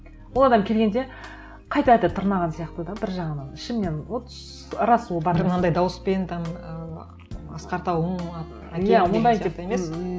ол адам келгенде қайта қайта тырнаған сияқты да бір жағынан ішімнен вот рас ол бар бір мынандай дауыспен там і асқар тауың әкең деген сияқты емес